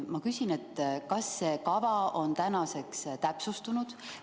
Ma küsin: kas see kava on tänaseks täpsustunud?